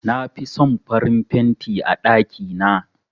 Na fi son farin fenti a ɗakina.